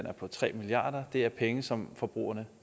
er på tre milliard det er penge som forbrugerne